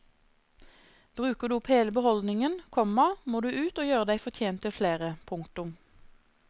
Bruker du opp hele beholdningen, komma må du ut og gjøre deg fortjent til flere. punktum